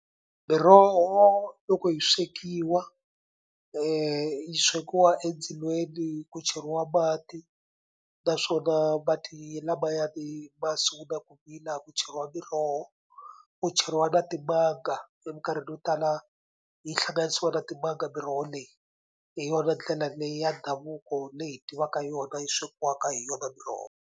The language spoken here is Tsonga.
Miroho loko yi swekiwa yi swekiwa endzilweni ku cheriwa mati naswona mati lamayani masungula ku vila ku cheriwa miroho ku cheriwa na timanga emikarhini yo tala yi hlanganisiwa na timanga miroho leyi. Hi yona ndlela leyi ya ndhavuko leyi hi tivaka yona yi swekiwaka hi yona miroho.